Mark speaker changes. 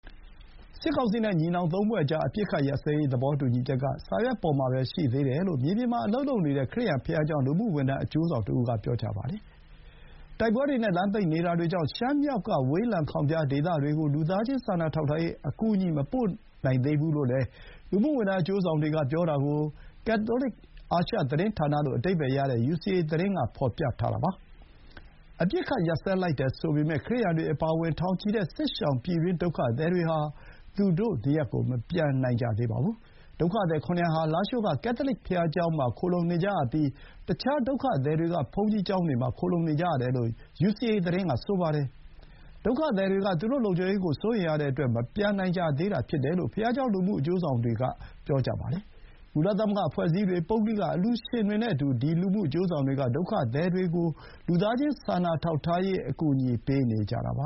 Speaker 1: စစ်ကောင်စီနဲ့ ညီနောင်သုံးဖွဲ့ကြား အပစ်အခတ်ရပ်စဲရေး သဘောတူညီချက် က စာရွက်ပေါ်မှာပဲရှိသေးတယ်လို့ မြေပြင်မှာအလုပ်လုပ်နေတဲ့ ခရစ်ယာန်ဘုရားကျောင်း လူမှုဝန်ထမ်းအကျိုးဆောင်တဦးက ပြောပါတယ်။ တိုက်ပွဲတွေနဲ့ လမ်းပိတ်နေတာတွေကြောင့် ရှမ်းမြောက်က ဝေးလံခေါင်ဖျားဒေသတွေကို လူသားချင်းစာနာထောက်ထားရေး အကူအညီ မပို့နိုင်သေးဘူး လို့လည်း လူမှုဝန်ထမ်း အကျိုးဆောင်တွေက ပြောတာကို ကက်သိုလစ် အာရှ သတင်းဌာန လို့ အဓိပ္ပါယ်ရတဲ့ ယူစီအေ သတင်းက ဖော်ပြထားတာပါ။ အပစ်အခတ်ရပ်စဲလိုက်တယ်ဆိုပေမဲ့ ခရစ်ယာန်တွေအပါအဝင် ထောင်ချီတဲ့ စစ်ရှောင် ပြည်တွင်းဒုက္ခသည်တွေဟာ သူတို့နေရပ်ကို မပြန်နိုင်ကြသေးပါဘူး။ ဒုက္ခသည် ၇၀၀ ဟာ လားရှိုးက ကက်သိုလစ်ဘုရားကျောင်းမှာ ခိုလှုံနေကြရပြီး အခြား ဒုက္ခသည်တွေက ဘုန်းကြီးကျောင်းတွေမှာ ခိုလှုံနေကြရတယ်လို့ ယူစီအေ သတင်းကဆိုပါတယ်။ ဒုက္ခသည်တွေက သူတို့လုံခြုံရေးကို စိုးရိမ်ရတဲ့အတွက် မပြန်နိုင်ကြသေးတာ ဖြစ်တယ်လို့ ဘုရားကျောင်း လူမှုအကျိုးဆောင်သူတွေက ဆိုကြပါတယ်။ ကုလသမဂ္ဂအဖွဲ့အစည်းတွေ၊ ပုဂ္ဂလိကအလှူရှင်တွေနဲ့အတူ ဒီ လူမှု အကျိုးဆောင်တွေက ဒုက္ခသည်တွေအတွက် လူသားချင်းစာနာထောက်ထားရေး အကူအညီ ပေးနေကြတာပ